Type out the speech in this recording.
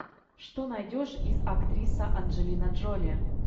что найдешь из актриса анджелина джоли